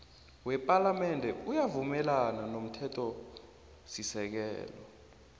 wepalamende uyavumelana nomthethosisekelo